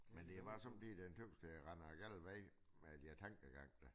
Men det bare som om lige den tøs der render den gale vej med den tankegang der